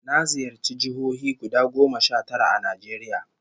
Na ziyarci jihohi guda goma sha tara a Najeriya